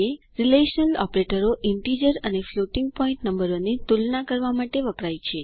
relational ઓપરેટરો integer અને floating point નંબરોની તુલના કરવા માટે વપરાય છે